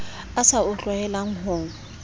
a sa o tlwaelang ho